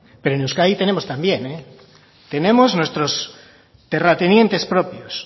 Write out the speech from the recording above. pero en euskadi tenemos también tenemos nuestros terratenientes propios